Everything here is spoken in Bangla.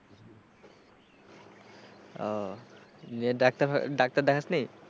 আহ যে ডাক্তার ডাক্তার দেখাসনি?